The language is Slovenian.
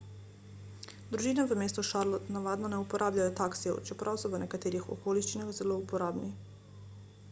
družine v mestu charlotte navadno ne uporabljajo taksijev čeprav so v nekaterih okoliščinah zelo uporabni